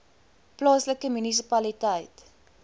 plaaslike munisipaliteit